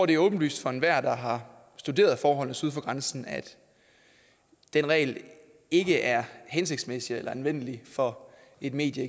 det er åbenlyst for enhver der har studeret forholdene syd for grænsen at den regel ikke er hensigtsmæssig eller anvendelig for et medie